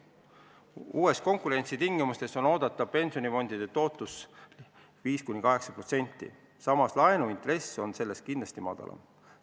Uutes konkurentsitingimustes on oodata pensionifondide tootlust 5–8%, samas laenuintress on sellest kindlasti madalam.